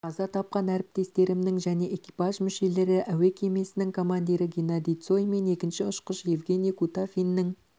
қаза тапқан әріптестерімнің жәнеэкипаж мүшелері әуе кемесінің командирі геннадий цой мен екінші ұшқыш евгений кутафиннің